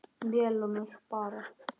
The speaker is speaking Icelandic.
Melónur bara!